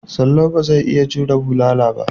Salau ba zai iya jure bulala ba.